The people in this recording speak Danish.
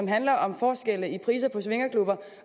handler om forskelle i priser på swingerklubber